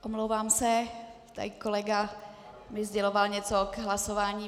Omlouvám se, tady kolega mi sděloval něco k hlasování.